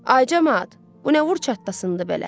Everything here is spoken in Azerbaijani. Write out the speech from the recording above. Ay camaat, bu nə vur çattasındadır belə.